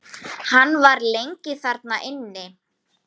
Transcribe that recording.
Hann var lengi þar inni.